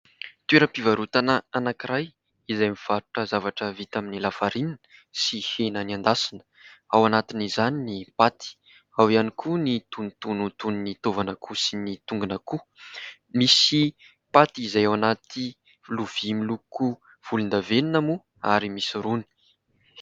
Toeram-pivarotana anankiray izay mivarotra zavatra vita amin'ny 'la farine" sy hena niendasina. Ao anatin'izany ny paty, ao ihany koa ny tonotono toy ny taovan'akoho sy ny tongon'akoho. Misy paty izay ao anaty lovia miloko volon-davenona moa ary misy rony.